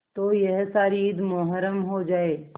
तो यह सारी ईद मुहर्रम हो जाए